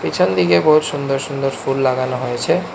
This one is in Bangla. পিছনদিকে বহুৎ সুন্দর সুন্দর ফুল লাগানো হয়েছে।